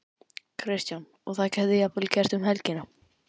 Kristján: Og það gæti jafnvel gerst um helgina?